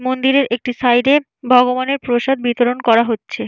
মন্দিরের একটি সাইড -এর ভগবানের প্রসাদ বিতরণ করা হচ্ছে।